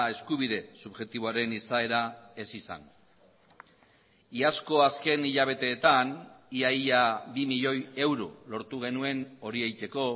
eskubide subjektiboaren izaera ez izan iazko azken hilabeteetan ia ia bi milioi euro lortu genuen hori egiteko